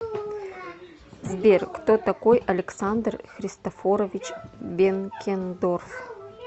сбер кто такой александр христофорович бенкендорф